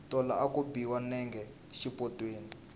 tolo a ku biwa nenge xipotsweni